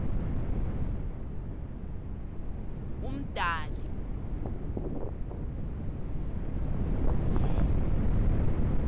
umdali